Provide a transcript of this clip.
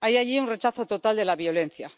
hay allí un rechazo total de la violencia.